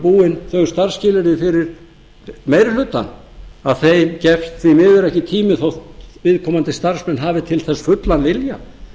búin þau starfsskilyrði fyrir meiri hlutann að þeim gefst því miður ekki tími þótt viðkomandi starfsmenn hafi til þess fullan vilja